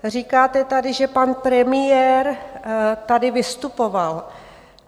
Říkáte tady, že pan premiér tady vystupoval.